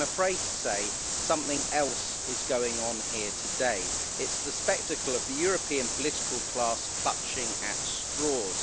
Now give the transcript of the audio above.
But I'm afraid to say that something else is going on here today it's the spectacle of the European political class clutching at straws.